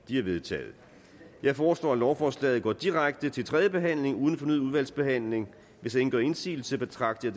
de er vedtaget jeg foreslår at lovforslaget går direkte til tredje behandling uden fornyet udvalgsbehandling hvis ingen gør indsigelse betragter